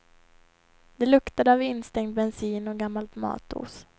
Det luktade av instängd bensin och gammalt matos.